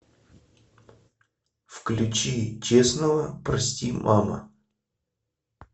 включи честного прости мама